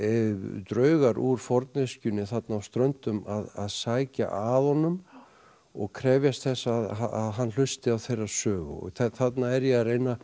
draugar úr forneskjunni þarna á Ströndum að sækja að honum og krefjast þess að hann hlusti á þeirra sögu þarna er ég að reyna